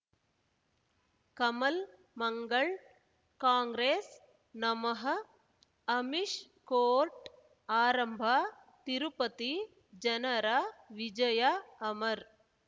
ಕಮಲ್ ಮಂಗಳ್ ಕಾಂಗ್ರೆಸ್ ನಮಃ ಅಮಿಷ್ ಕೋರ್ಟ್ ಆರಂಭ ತಿರುಪತಿ ಜನರ ವಿಜಯ ಅಮರ್